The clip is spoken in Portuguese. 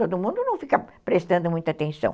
Todo mundo não fica prestando muita atenção.